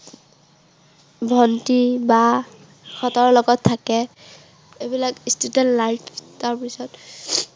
ভন্টী, বা ইহঁতৰ লগত থাকে। এইবিলাক student life তাৰ পিছত